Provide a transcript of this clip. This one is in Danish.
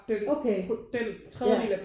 Okay ja